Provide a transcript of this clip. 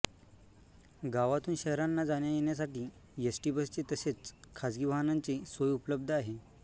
गावातुन शहरांना जाण्या येण्यासाठी एसटी बसची तसेच खाजगी वाहनांची सोय उपलब्ध आहे